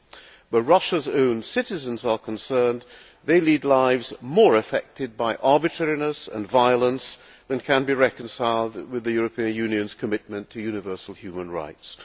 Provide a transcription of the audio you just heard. Where Russia's own citizens are concerned, they lead lives more affected by arbitrariness and violence than can be reconciled with the European Union's commitment to universal human rights.